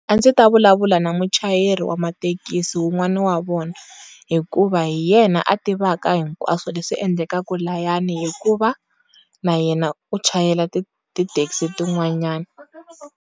A ndzi ta vulavula na muchayeri wa mathekisi wu n'wani wa vona hikuva hi yena a tivaka hinkwaswo leswi endlekaku layani hikuva na yena u chayela ti ti thekisi ti n'wananyani.